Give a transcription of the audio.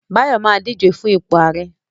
Báyọ̀ ma díje fún ipò ààrẹ́